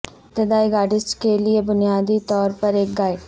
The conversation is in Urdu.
ابتدائی گٹارسٹ کے لئے بنیادی طور پر ایک گائیڈ